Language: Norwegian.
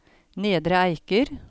Nedre Eiker